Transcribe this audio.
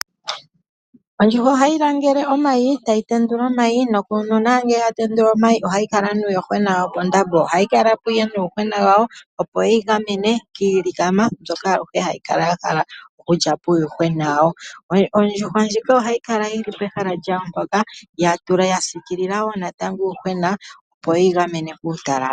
Ondjuhwa ohayi langele omayi etayi tendula omayi nuna ngele yatendula omayi ohayikala nuuyuhwena wayo pondambo, ohayi kalapo nuuyuhwena wayo opo wuyigamene kilikama mbyoka hayi kala yahala oku lyapo uuyuhwena wayo, ondjuhwa ndjika ohayi kala yili pehala lyawo poka yasikilila natango uuyuhwena opo wuyigamene kutalala.